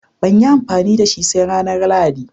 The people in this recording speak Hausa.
Banyi amfani dashi ba sai ranar lahadi